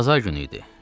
Bazar günü idi.